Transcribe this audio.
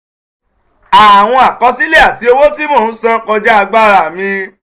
àwọn àkọsílẹ̀ àti owó tí mò ń san kọjá agbára mi.